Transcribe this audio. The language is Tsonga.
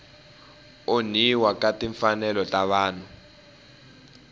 onhiwa ka timfanelo ta vanhu